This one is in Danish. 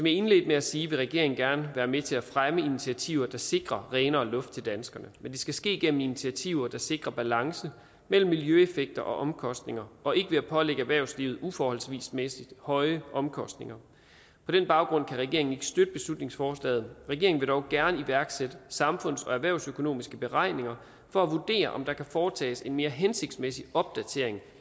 indledte med at sige vil regeringen gerne være med til at fremme initiativer der sikrer renere luft til danskerne men det skal ske gennem initiativer der sikrer balance mellem miljøeffekter og omkostninger og ikke ved at pålægge erhvervslivet uforholdsmæssig høje omkostninger på den baggrund kan regeringen ikke støtte beslutningsforslaget regeringen vil dog gerne iværksætte samfunds og erhvervsøkonomiske beregninger for at vurdere om der kan foretages en mere hensigtsmæssig opdatering